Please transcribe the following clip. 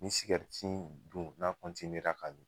Ni sigɛriti dun n'a ra ka d